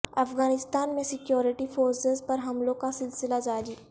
افغانستان میں security forces پر حملوں کا سلسلہ جاری